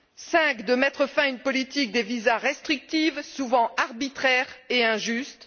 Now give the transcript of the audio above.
cinquièmement, de mettre fin à une politique des visas restrictive, souvent arbitraire et injuste